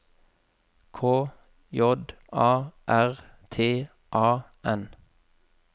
K J A R T A N